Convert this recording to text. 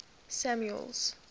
samuel's